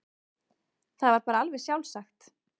Það var bara alveg sjálfsagt.